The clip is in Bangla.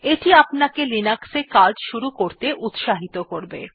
এটি আপনাকে লিনাক্স এ কাজ শুরু করতে উত্সাহিত করবে